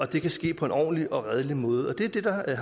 det sker på en ordentlig og redelig måde det er det der i